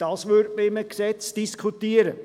Dies würde man in einem Gesetz diskutieren.